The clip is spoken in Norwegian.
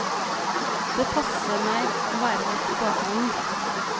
Det passer meg å være litt i bakgrunnen.